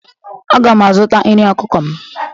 Aga m azụta nri ọkụkọ m